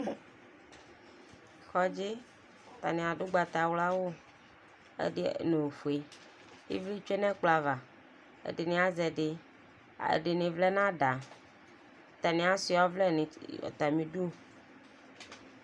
kɔdzi atani adu ugbata wla awu ɛdi n'ofue ivi tsue n'ɛkplɔ ava ɛdini azɛ ɛdi ɛdini vlɛ n'ada atani asua ɔvlɛ n'atami du.